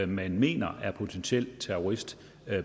man mener er potentiel terrorist